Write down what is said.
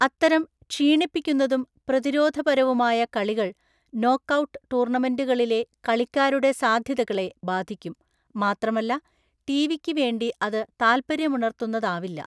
അത്തരം ക്ഷീണിപ്പിക്കുന്നതും പ്രതിരോധപരവുമായ കളികൾ നോക്കൌട്ട് ടൂർണമെന്റുകളിലെ കളിക്കാരുടെ സാധ്യതകളെ ബാധിക്കും, മാത്രമല്ല ടിവിക്ക് വേണ്ടി അത് താല്‍പര്യമുണര്‍ത്തുന്നതാവില്ല.